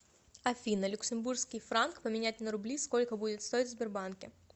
афина люксембургский франк поменять на рубли сколько будет стоить в сбербанке